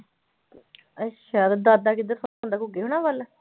ਅੱਛਾ ਤੇ ਦਾਦਾ ਕਿੱਧਰ ਸੌਂਦਾ ਘੁੱਗੀ ਹੋਣਾਂ ਵੱਲ।